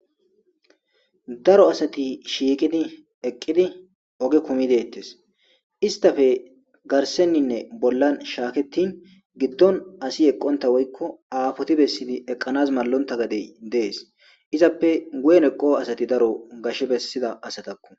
Daro asati shiiqidi eqqidi oge kumi deettes istafe garsenninne bollan shaaketin giddon asi eqqonta woykko aafoti bessidi eqqanas mallonta gadey dees izappe guyen eqoo asati daro gashe bessida asatakku.